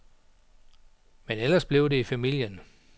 Men ellers blev det i familien.